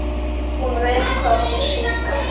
Hún veit hvað hún syngur.